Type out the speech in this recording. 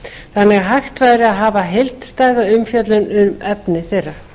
þannig að hægt væri að hafa heildstæða umfjöllun um efni þeirra